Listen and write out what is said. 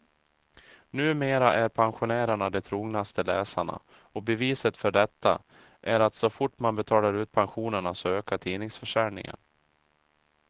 Numera är pensionärerna de trognaste läsarna, och beviset för detta är att så fort man betalar ut pensionerna så ökar tidningsförsäljningen.